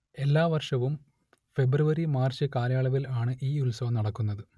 എല്ലാ വർഷവും ഫെബ്രുവരി മാർച്ച് കാലയളവിൽ ആണ് ഈ ഉത്സവം നടക്കുന്നത്